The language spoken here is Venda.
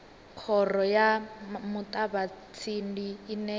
khoro ya muṱavhatsindi ine ya